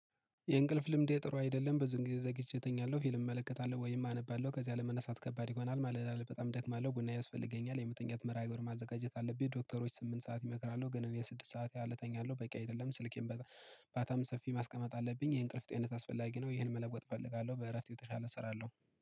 የእንቅልፍ ልምዴ ጥሩ አይደለም ብዙን ጊዜ ዘግቼ እተኛለሁ ፊልም እመለከታለሁ ወይም አነባለሁ ከዚያ ለመነሳት ከባድ ይሆናል ማለት ነው። በጣም ደክማ አለው ቡና ያስፈልገኛል የመተኛት መርሃ ግብር ማዘጋጀት አለብኝ። ዶክተሮች ስምንት ሰዓት ይመክራሉ ግን እኔ ስድስት ሰዓት ያህል እተኛለሁ በቂ አይደለም። ስልኬን በታም ሰፊ ማስቀመጥ አለብኝ የእንቅልፍ ጤንነት አስፈላጊ ነው። ይሄን መለወጥ እፈልጋለሁ በእረፍት የተሻለ እሰራለሁ